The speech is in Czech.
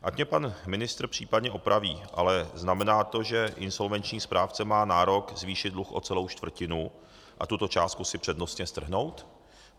Ať mě pan ministr případně opraví, ale znamená to, že insolvenční správce má nárok zvýšit dluh o celou čtvrtinu a tuto částku si přednostně strhnout?